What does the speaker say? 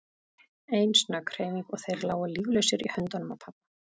Ein snögg hreyfing og þeir lágu líflausir í höndunum á pabba.